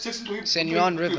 san juan river